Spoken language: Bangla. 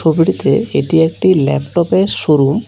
এটি একটি ল্যাপটপের শোরুম ।